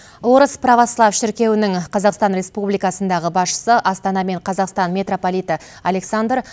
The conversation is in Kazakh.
орыс православ шіркеуінің қазақстан республикасындағы басшысы астана мен қазақстан митрополиті александр